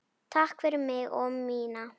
Takk fyrir mig og mína.